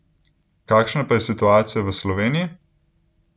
Kakšna pa je situacija v Sloveniji?